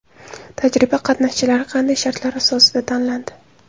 Tajriba qatnashchilari qanday shartlar asosida tanlandi?